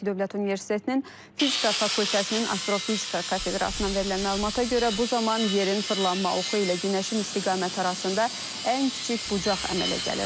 Bakı Dövlət Universitetinin fizika fakültəsinin Astrofizika kafedrasından verilən məlumata görə bu zaman yerin fırlanma oxu ilə günəşin istiqaməti arasında ən kiçik bucaq əmələ gəlir.